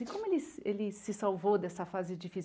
E como ele ele se salvou dessa fase difícil?